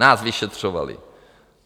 Nás vyšetřovali!